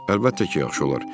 Əlbəttə ki, yaxşı olar.